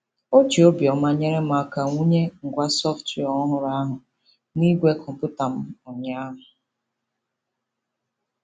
O ji obiọma nyere m aka wụnye ngwa sọftwịa ọhụrụ ahụ n'igwe kọmputa m ụnyaahụ.